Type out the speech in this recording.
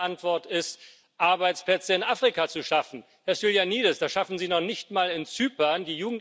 Die zweite Antwort ist, Arbeitsplätze in Afrika zu schaffen. Herr Stylianides, das schaffen Sie noch nicht mal in Zypern.